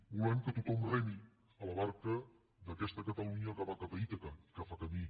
i volem que tothom remi a la barca d’aquesta catalunya que va cap a ítaca que fa camí